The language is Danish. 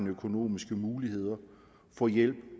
økonomiske muligheder får hjælp